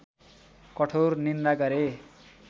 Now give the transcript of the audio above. कठोर निन्दा गरे